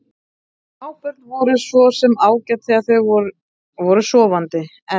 Smábörn voru svo sem ágæt þegar þau voru sofandi, en